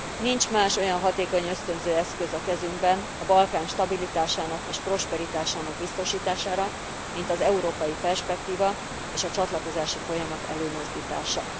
Nincs más olyan hatékony ösztönző eszköz a kezünkben a Balkán stabilitásának és prosperitásának biztosítására, mint az európai perspektíva és a csatlakozási folyamat előmozdítása.